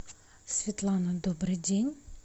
светлана добрый день